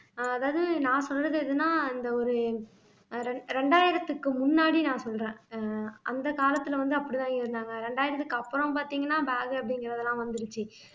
அஹ் அதாவது நான் சொல்றது எதுன்னா இந்த ஒரு அஹ் ரெண் ரெண்டாயிரத்துக்கு முன்னாடி நான் சொல்றேன் ஆஹ் அந்த காலத்துல வந்து அப்படித்தான் இருந்தாங்க இரண்டாயிரத்துக்கு அப்புறம் பாத்தீங்கன்னா bag உ அப்படிங்கறதெல்லாம் வந்திடுச்சு